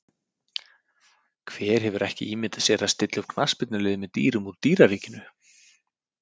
Hver hefur ekki ímyndað sér að stilla upp knattspyrnuliði með dýrum úr dýraríkinu?